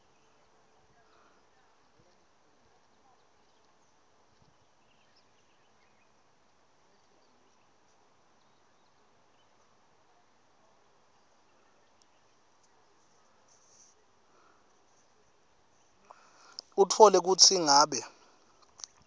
utfole kutsi ngabe